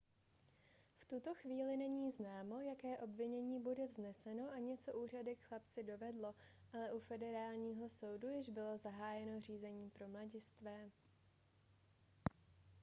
v tuto chvíli není známo jaké obvinění bude vzneseno ani co úřady k chlapci dovedlo ale u federálního soudu již bylo zahájeno řízení pro mladistvé